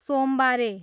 सोमबारे